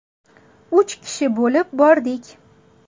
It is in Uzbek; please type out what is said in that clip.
Uch kishi bo‘lib bordik.